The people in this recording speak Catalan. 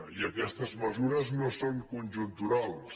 i aquestes mesures no són conjunturals